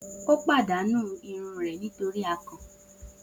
O padanu irun rẹ nitori akàn.